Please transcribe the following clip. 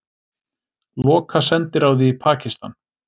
Loka sendiráði í Pakistan